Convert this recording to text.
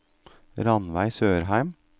Ranveig Sørheim